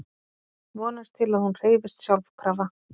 Vonast til að hún hreyfist sjálfkrafa.